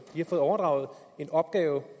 de har fået overdraget en opgave